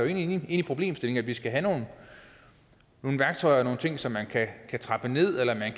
enig i problemstillingen nemlig at vi skal have nogle værktøjer og nogle ting så man kan trappe ned eller at man